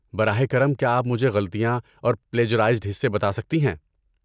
براہ کرم کیا آپ مجھے غلطیاں اور پلیجرائزڈ حصے بتا سکتی ہیں؟